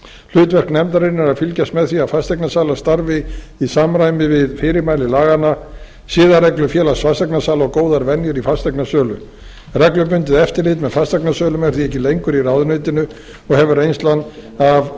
hlutverk nefndarinnar er að fylgjast með að fasteignasalar starfi í samræmi við fyrirmæli laganna siðareglur félags fasteignasala og góðar venjur í fasteignasölu reglubundið eftirlit með fasteignasölum er því ekki lengur í ráðuneytinu og hefur reynslan af